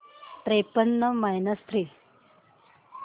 त्रेपन्न minus three